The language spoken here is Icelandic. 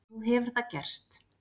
Nú hefur það gerst.